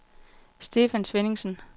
Stefan Svenningsen